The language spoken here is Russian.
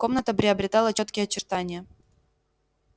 комната приобретала чёткие очертания